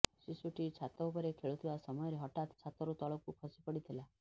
ଶିଶୁଟି ଛାତ ଉପରେ ଖେଳୁଥିବା ସମୟରେ ହଠାତ୍ ଛାତରୁ ତଳକୁ ଖସି ପଡ଼ିଥିଲା